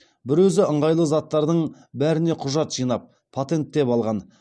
бір өзі ыңғайлы заттардың бәріне құжат жинап патенттеп алған